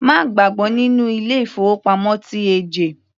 Má gbàgbọ́ nínú ilé ìfowópamọ́ TAJ.